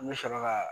N bɛ sɔrɔ ka